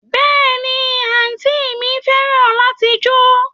Béèni, anti mi feran lati jo